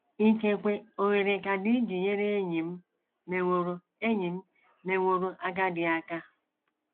Ikekwe ohere ka dị iji nyere enyi m meworo enyi m meworo agadi aka.